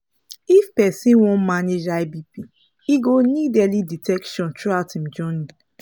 if persin wan manage high bp e go need early detection throughout him journey